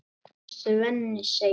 Svenni segir